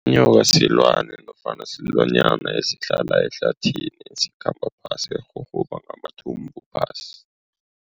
Inyoka silwane nofana silwanyana esihlala ehlathini. Esikhamba phasi esirhurhuba ngamathumbu phasi.